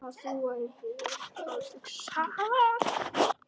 Hvað þú værir að hugsa.